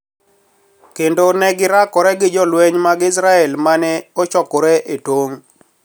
Kendo ne girakore gi jolweny mag Israel ma ne ochokore e tong '.